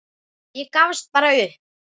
Ég gafst bara upp.